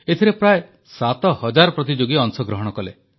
ଏଥିରେ ପ୍ରାୟଃ 7 ହଜାର ପ୍ରତିଯୋଗୀ ଅଂଶଗ୍ରହଣ କଲେ